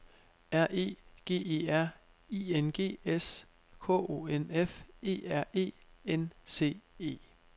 R E G E R I N G S K O N F E R E N C E